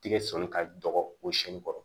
Tigɛ sɔɔni ka dɔgɔ o si kɔrɔ